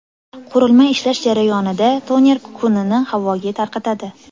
Qurilma ishlash jarayonida toner kukunini havoga tarqatadi.